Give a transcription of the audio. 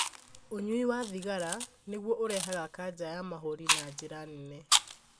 Ũnyui wa thigara nĩguo ũrehaga kanja ya mahũri na njĩra nene.